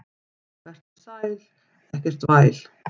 Vertu sæl, ekkert væl.